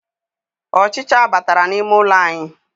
Ọchicha batara n'ime ụlọ anyị.